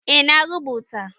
eh na rubuta